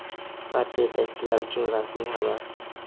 Barcha yetakchilar uchun rasmiy xabar‼.